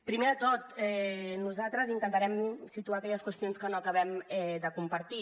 primer de tot nosaltres intentarem situar aquelles qüestions que no acabem de compartir